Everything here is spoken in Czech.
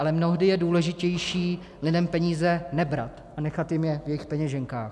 Ale mnohdy je důležitější lidem peníze nebrat a nechat jim je v jejich peněženkách.